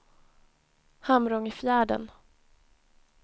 Hamrångefjärden